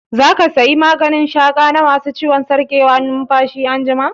Za ka saya maganin shaƙa na ma su ciwon sarƙewar numfashi anjima?